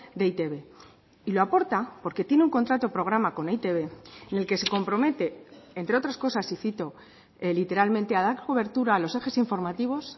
de e i te be y lo aporta porque tiene un contrato programa con e i te be en el que se compromete entre otras cosas y cito literalmente a dar cobertura a los ejes informativos